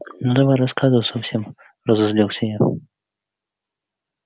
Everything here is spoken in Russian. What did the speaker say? ну давай рассказывай совсем разозлился я